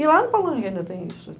E lá no Palanque ainda tem isso.